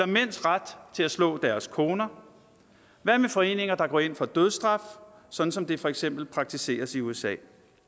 mænds ret til at slå deres koner hvad med foreninger der går ind for dødsstraf sådan som det for eksempel praktiseres i usa